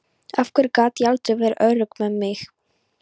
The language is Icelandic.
Af hverju gat ég aldrei verið örugg með mig.